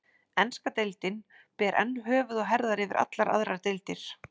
Enska deildin ber enn höfuð og herðar yfir allar aðrar deildir.